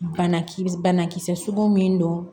Bana kisɛ bana kisɛ sugun min don